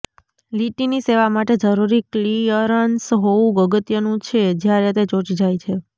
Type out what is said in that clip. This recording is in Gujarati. લીટીની સેવા માટે જરૂરી ક્લિઅરન્સ હોવું અગત્યનું છે જ્યારે તે ચોંટી જાય છે